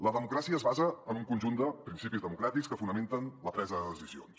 la democràcia es basa en un conjunt de principis democràtics que fonamenten la presa de decisions